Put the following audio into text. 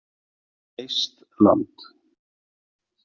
Eistland